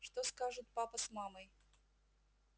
что скажут папа с мамой